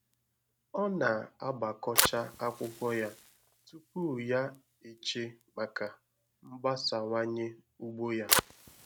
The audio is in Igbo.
Ọ na-agbakọcha akwụkwọ ya tupu ya eche maka mgbasawanye ugbo ya